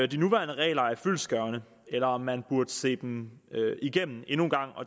de nuværende regler er fyldestgørende eller om man burde se dem igennem endnu en gang